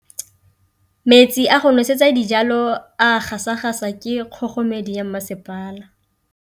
Metsi a go nosetsa dijalo a gasa gasa ke kgogomedi ya masepala.